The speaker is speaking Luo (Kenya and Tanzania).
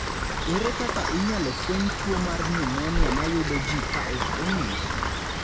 Ere kaka inyalo fweny tuo mar nyumonia ma yudo ji ka ok ong'ere?